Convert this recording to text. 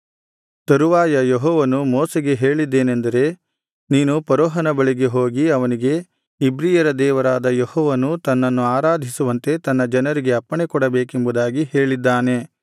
ತರುವಾಯ ಯೆಹೋವನು ಮೋಶೆಗೆ ಹೇಳಿದ್ದೇನೆಂದರೆ ನೀನು ಫರೋಹನ ಬಳಿಗೆ ಹೋಗಿ ಅವನಿಗೆ ಇಬ್ರಿಯರ ದೇವರಾದ ಯೆಹೋವನು ತನ್ನನ್ನು ಆರಾಧಿಸುವಂತೆ ತನ್ನ ಜನರಿಗೆ ಅಪ್ಪಣೆಕೊಡಬೇಕೆಂಬುದಾಗಿ ಹೇಳಿದ್ದಾನೆ